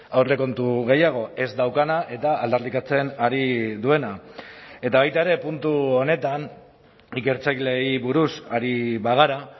aurrekontu gehiago ez daukana eta aldarrikatzen ari duena eta baita ere puntu honetan ikertzaileei buruz ari bagara